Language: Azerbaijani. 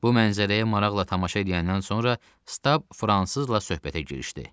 Bu mənzərəyə maraqla tamaşa ediyəndən sonra Stab fransızla söhbətə girişdi.